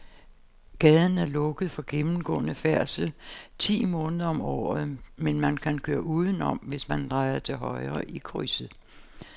Gaden er lukket for gennemgående færdsel ti måneder om året, men man kan køre udenom, hvis man drejer til højre i krydset.